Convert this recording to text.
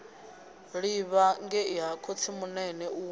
livha ngei ha khotsimunene u